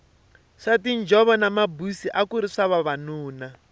swa tinjhovo na mabusi akuri swa vanuna